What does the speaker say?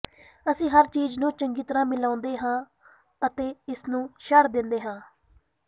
ਅਸੀਂ ਹਰ ਚੀਜ਼ ਨੂੰ ਚੰਗੀ ਤਰ੍ਹਾਂ ਮਿਲਾਉਂਦੇ ਹਾਂ ਅਤੇ ਇਸ ਨੂੰ ਛੱਡ ਦਿੰਦੇ ਹਾਂ